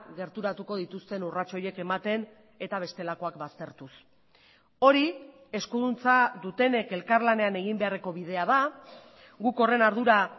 gerturatuko dituzten urrats horiek ematen eta bestelakoak baztertuz hori eskuduntza dutenek elkarlanean egin beharreko bidea da guk horren ardura